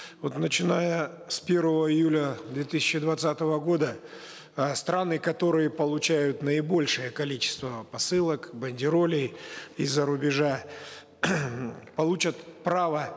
вот начиная с первого июля две тысячи двадцатого года э страны которые получают наибольшее количество посылок бандеролей из за рубежа получат право